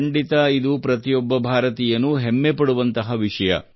ಖಂಡಿತ ಇದು ಪ್ರತಿಯೊಬ್ಬ ಭಾರತೀಯನೂ ಹೆಮ್ಮೆ ಪಡುವಂತಹ ವಿಷಯ